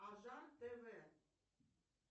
анжан тв